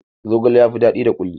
Zogale ya fi daɗi da kuli